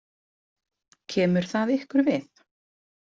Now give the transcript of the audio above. Kemur það ykkur við?